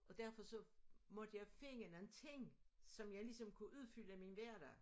Og derfor så måtte jeg finde nogen ting som jeg ligesom kunne udfylde min hverdag